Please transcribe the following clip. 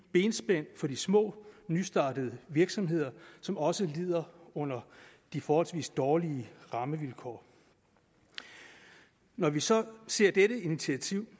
benspænd for de små nystartede virksomheder som også lider under de forholdsvis dårlige rammevilkår når vi så ser dette initiativ